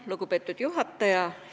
Lugupeetud juhataja!